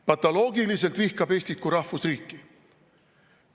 Patoloogiliselt vihkab Eestit kui rahvusriiki!